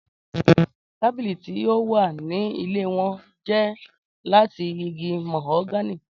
Tabili ti o wa ni ile wọn jẹ lati igi mahogany.